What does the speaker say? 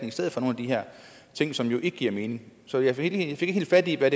i stedet for nogle af de her ting som jo ikke giver mening så jeg fik ikke helt fat i hvad